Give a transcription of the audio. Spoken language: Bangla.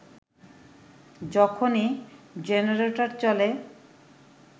যখনই জেনারেটর চলে